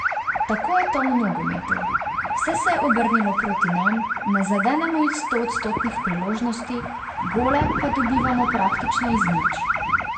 Tako je to v nogometu, vse se je obrnilo proti nam, ne zadenemo iz stoodstotnih priložnosti, gole pa dobivamo praktično iz nič.